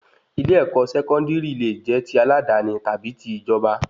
Ilé-èkó sẹkọndiri lẹ jẹ tí aladani tàbí tí ìjọba